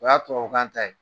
O y'a tubabukan ta ye